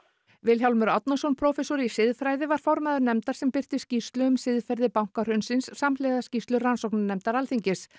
Vilhjálmur Árnason prófessor í siðfræði var formaður nefndar sem birti skýrslu um siðferði bankahrunsins samhliða skýrslu rannsóknarnefndar Alþingis